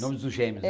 Nomes dos gêmeos, é